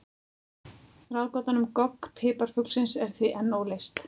Ráðgátan um gogg piparfuglsins er því enn óleyst.